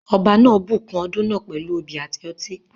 Ọba náà bùkún ọdún náà pẹ̀lú obì àti ọtí.